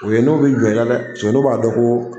U ye n'u bi jɔn i la dɛ , paseke n'u b'a dɔn ko